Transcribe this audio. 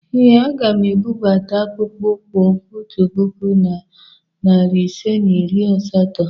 Ee, aga m ebubata akpụkpọ ụkwụ otu puku na narị ise na iri asatọ.